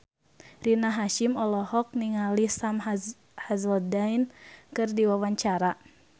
Rina Hasyim olohok ningali Sam Hazeldine keur diwawancara